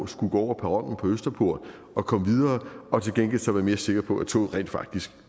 skulle gå over perronen på østerport og komme videre og til gengæld så være mere sikre på at toget rent faktisk